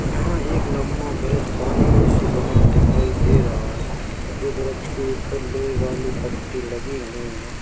यहाँ एक लम्बा ब्रिज पानी में से बना दिखाई दे रहा है जो ब्रिज के ऊपर लोहे वाली पट्टी लगी हुई है।